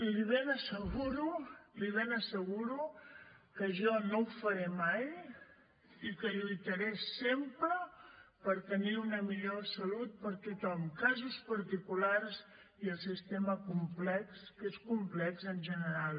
li ben asseguro li ben asseguro que jo no ho faré mai i que lluitaré sempre per tenir una millor salut per a tothom casos particulars i el sistema complex que és complex en general